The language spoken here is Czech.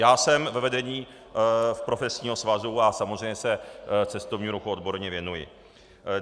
Já jsem ve vedení profesního svazu a samozřejmě se cestovnímu ruchu odborně věnuji.